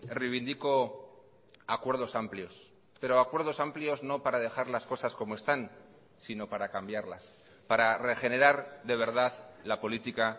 reivindico acuerdos amplios pero acuerdos amplios no para dejar las cosas como están sino para cambiarlas para regenerar de verdad la política